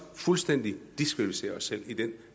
fuldstændig diskvalificere os selv i den